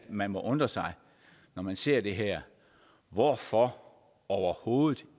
man må undre sig når man ser det her hvorfor overhovedet